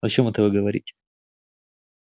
о чём это вы говорите